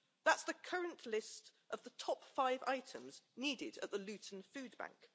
That's the current list of the top five items needed at the Luton Food Bank.